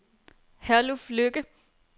Herluf Lykke